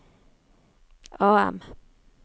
AM